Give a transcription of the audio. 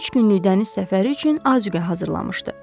Üç günlük dəniz səfəri üçün azuqə hazırlamışdı.